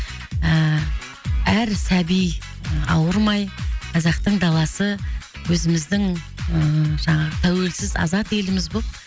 ііі әр сәби ауырмай қазақтың даласы өзіміздің ііі жаңағы тәуелсіз азат еліміз болып